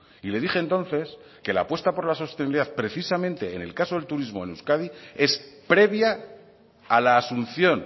y le dije entonces que la apuesta por la sostenibilidad precisamente en el caso del turismo en euskadi es previa a la asunción